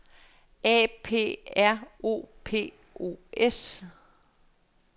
A P R O P O S